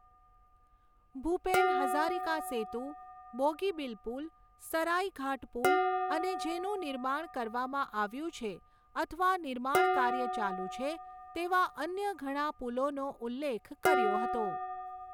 ભૂપેન હઝારિકા સેતુ, બોગીબીલ પુલ, સરાઇઘાટ પુલ અને જેનું નિર્માણ કરવામાં આવ્યું છે અથવા નિર્માણ કાર્ય ચાલુ છે તેવા અન્ય ઘણા પુલોનો ઉલ્લેખ કર્યો હતો.